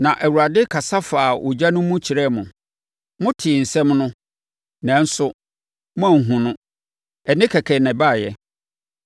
Na Awurade kasa faa ogya no mu kyerɛɛ mo. Motee nsɛm no, nanso moanhunu no. Ɛnne kɛkɛ na ɛbaeɛ.